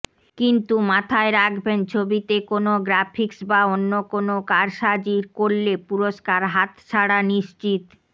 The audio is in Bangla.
কিন্তু মাথায় রাখবেন ছবিতে কোনও গ্রাফিক্স বা অন্য কোনও কারসাজি করলে পুরস্কার হাতছাড়া নিশ্চিত